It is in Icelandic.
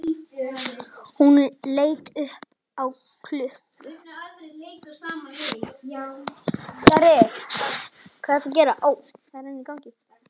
Hún leit upp á klukk